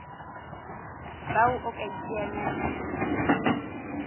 bao o ka iteanyang le